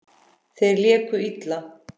Þeir léku illa.